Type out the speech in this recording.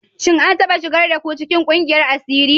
Shin an taɓa shigar da ku cikin ƙungiyar asiri?